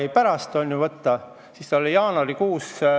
– pärast 110 päeva, on ju.